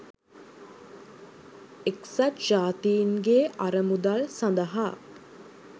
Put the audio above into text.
එක්සත් ජාතීන්ගේ අරමුදල් සඳහා